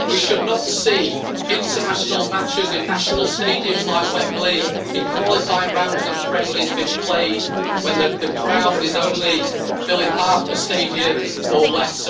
We should not see international matches in national stadiums like Wembley in qualifying rounds and friendlies being played when the crowd is only filling half the stadium or less.